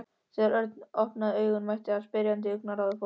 Þegar Örn opnaði augun mætti hann spyrjandi augnaráði foreldra sinna.